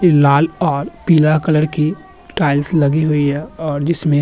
लाल और पीला कलर की टाइल्स लगी हुई हैं और जिसमें --